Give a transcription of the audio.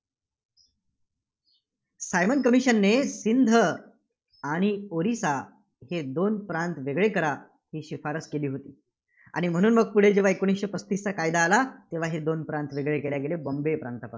Simon commission ने सिंध आणि ओरिसा दोन प्रांत वेगळे करा, ही शिफारस केली होती. आणि म्हणूनचं पुढे जेव्हा एकोणीसशे पस्तीसचा कायदा आला, तेव्हा हे दोन प्रांत वेगळे केले गेले. बाँबे प्रातांपासून